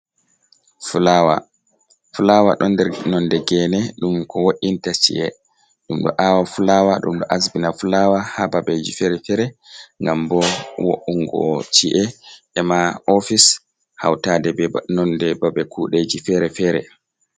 Filawa. Filawa ɗon nder nonde gene ɗum ko wo’inta ci’e. Ɗum ɗo awa fulawa. Ɗum ɗo asbina fulawa ha babeji fere-fere ngam vo’ungo ci’e mabo ofice hautade nonde babe kudeji fere-fere.